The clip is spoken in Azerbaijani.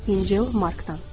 İncil, Markdan.